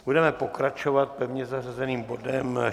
Budeme pokračovat pevně zařazeným bodem